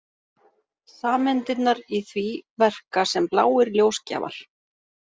Sameindirnar í því verka sem bláir ljósgjafar.